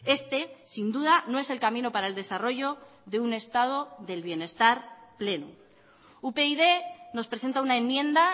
este sin duda no es el camino para el desarrollo de un estado del bienestar pleno upyd nos presenta una enmienda